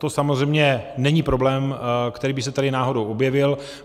To samozřejmě není problém, který by se tady náhodou objevil.